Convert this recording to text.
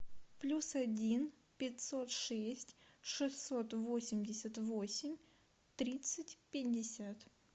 плюс один пятьсот шесть шестьсот восемьдесят восемь тридцать пятьдесят